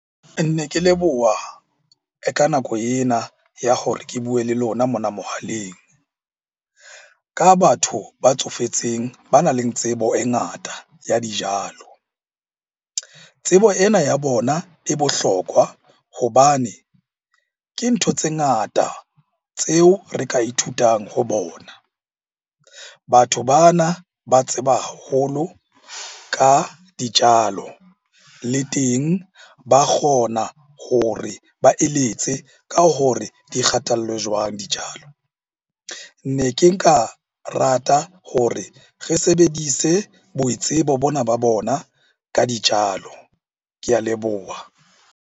Ne ke leboha ka nako ena ya hore ke bue le lona mona mohaleng. Ka batho ba tsofetseng ba nang le tsebo e ngata ya dijalo, tsebo ena ya bona e bohlokwa hobane ke ntho tse ngata tseo re ka ithutang ho bona. Batho bana ba tseba haholo ka dijalo, le teng ba kgona hore ba eletse ka hore di kgathallwe jwang dijalo. Ne ke nka rata hore re sebedise boitsebo bona ba bona ka dijalo. Ke a leboha.